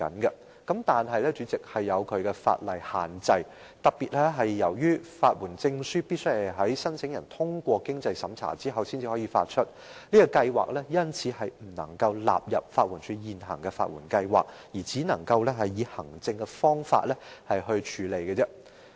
不過，主席，當中也有一些法律限制，由於法律援助證書必須在申請人通過經濟審查後才可發出，試驗計劃因而不能納入法援署現行的法援計劃，只可以行政方法處理。